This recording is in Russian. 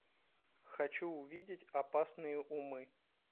хочу увидеть опасные умы